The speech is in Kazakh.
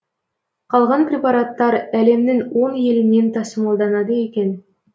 қалған препараттар әлемнің он елінен тасымалданады екен